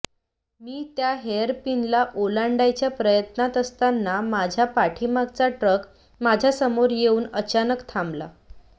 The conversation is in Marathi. मी त्या हेअर पिनला ओलांडायच्या प्रयत्नात असताना माझ्या पाठीमागचा ट्रक माझ्या समोर येऊन अचानक थांबला